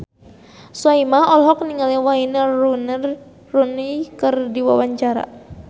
Soimah olohok ningali Wayne Rooney keur diwawancara